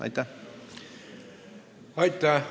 Aitäh!